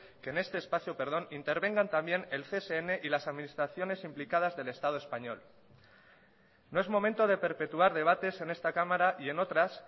que en este espacio intervengan también el csn y las administraciones implicadas del estado español no es momento de perpetuar debates en esta cámara y en otras